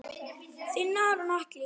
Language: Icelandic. Þinn Aron Atli.